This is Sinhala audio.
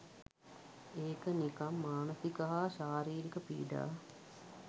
ඒක නිකම් මානසික හා ශාරීරික පීඩා